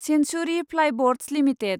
Centauri Plyboards limited